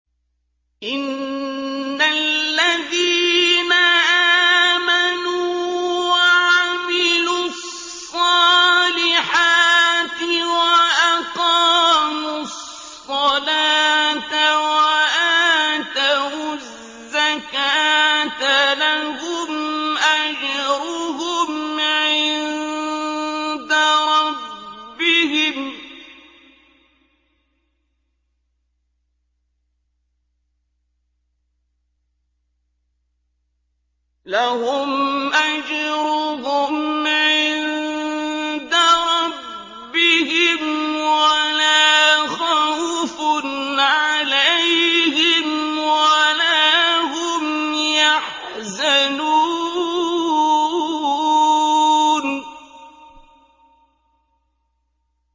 إِنَّ الَّذِينَ آمَنُوا وَعَمِلُوا الصَّالِحَاتِ وَأَقَامُوا الصَّلَاةَ وَآتَوُا الزَّكَاةَ لَهُمْ أَجْرُهُمْ عِندَ رَبِّهِمْ وَلَا خَوْفٌ عَلَيْهِمْ وَلَا هُمْ يَحْزَنُونَ